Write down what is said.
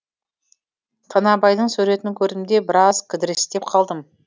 танабайдың суретін көрдім де біраз кідірістеп қалдым